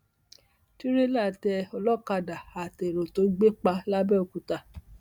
tìrẹlà tẹ olókàdá àtẹrò tó gbé pa làbẹòkúta